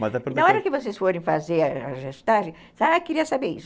Na hora que vocês forem fazer a gestagem, ah, eu queria saber isso.